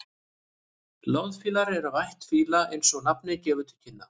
loðfílar eru af ætt fíla eins og nafnið gefur til kynna